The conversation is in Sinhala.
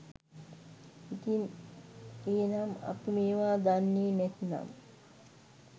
ඉතින් එහෙනම් අපි මේවා දන්නේ නැත්නම්